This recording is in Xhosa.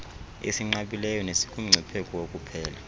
esinqabileyo nesikumngcipheko wokuphela